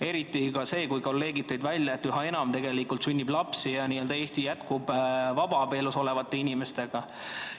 Eriti, kui kolleegid tõid välja, et üha enam sünnib lapsi vabaabielust ja n‑ö Eesti jätkub vabaabielus olevate inimeste abil.